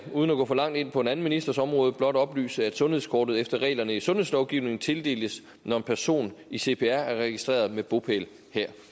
uden at gå for langt ind på en anden ministers område blot oplyse at sundhedskortet efter reglerne i sundhedslovgivningen tildeles når en person i cpr er registreret med bopæl her